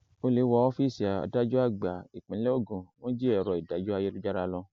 ole wọ ọfíìsì adájọ àgbà ìpínlẹ ogun wọn jí èrò ìdájọ ayélujára lọ